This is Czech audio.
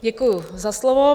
Děkuji za slovo.